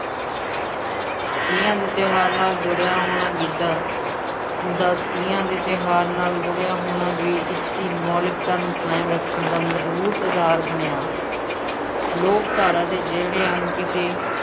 ਤੀਆਂ ਦੇ ਤਿਉਹਾਰ ਨਾਲ ਜੁੜਿਆ ਹੋਣਾ ਗਿੱਧਾ ਦਾ ਤੀਆਂ ਦੇ ਤਿਉਹਾਰ ਨਾਲ ਜੁੜਿਆ ਹੋਣਾ ਵੀ ਇਸਦੀ ਮੌਲਿਕਤਾ ਨੂੰ ਕਾਇਮ ਰੱਖਣ ਦਾ ਮਜ਼ਬੂਤ ਆਧਾਰ ਬਣਿਆ, ਲੋਕ ਧਾਰਾ ਦੇ ਜਿਹੜੇ ਅੰਗ ਕਿਸੇ